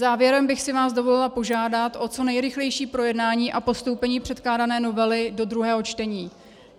Závěrem bych si vás dovolila požádat o co nejrychlejší projednání a postoupení předkládané novely do druhého čtení.